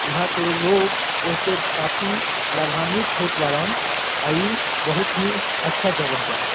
इहा के लोग ए से काफी लाभवांवित होत बारन आ इ बहुत ही अच्छा जगह बा।